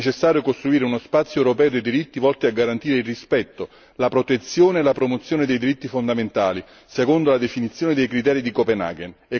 È necessario costruire uno spazio europeo dei diritti volti a garantire il rispetto, la protezione e la promozione dei diritti fondamentali secondo la definizione dei criteri di Copenaghen.